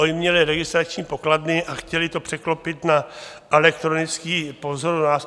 Oni měli registrační pokladny a chtěli to překlopit na elektronický... po vzoru nás.